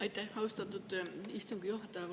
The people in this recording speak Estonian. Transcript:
Aitäh, austatud istungi juhataja!